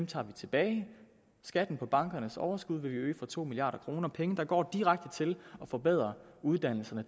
tager vi tilbage skatten på bankernes overskud vil vi øge for to milliard kroner penge der går direkte til at forbedre uddannelserne